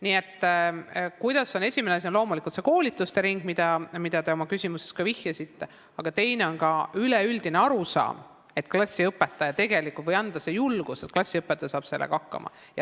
Nii et esiteks on oluline loomulikult see koolitustering, millele te oma küsimuses ka vihjasite, aga teiseks on oluline tekitada üleüldine arusaam või anda seda julgust, et klassiõpetaja saab sellega hakkama.